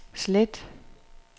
slet